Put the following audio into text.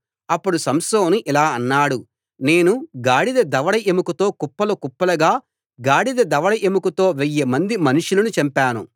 అప్పుడు సంసోను ఇలా అన్నాడు నేను గాడిద దవడ ఎముకతో కుప్పలు కుప్పలుగా గాడిద దవడ ఎముకతో వెయ్యి మంది మనుషులను చంపాను